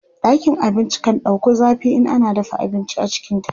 ɗakin abinci kan ɗauku zafi in ana dafa abinci a cikinta